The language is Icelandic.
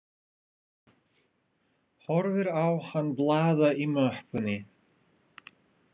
Horfir á hann blaða í möppunni.